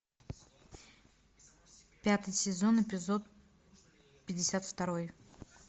пятый сезон эпизод пятьдесят второй